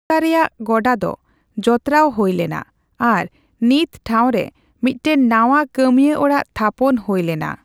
ᱨᱮᱭᱟᱜ ᱜᱚᱰᱟᱫᱚ ᱡᱚᱛᱨᱟᱣ ᱦᱳᱭ ᱞᱮᱱᱟ ᱟᱨ ᱱᱤᱛ ᱴᱷᱟᱣᱨᱮ ᱢᱤᱫᱴᱟᱝ ᱱᱟᱣᱟ ᱠᱟᱹᱢᱤᱭᱟ ᱚᱲᱟᱜ ᱛᱷᱟᱯᱚᱱ ᱦᱳᱭ ᱞᱮᱱᱟ ᱾